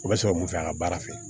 O bɛ sɔrɔ mun fɛ a ka baara fɛ